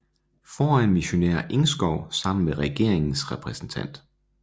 Foran missionær Engskov sammen med regeringens repræsentant